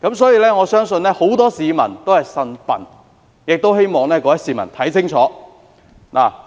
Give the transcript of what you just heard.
所以，我相信很多市民都"呻笨"，亦希望各位市民看清楚。